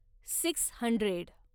six hundred